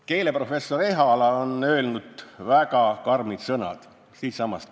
Keeleprofessor Ehala on öelnud väga karmid sõnad, ka siitsamast.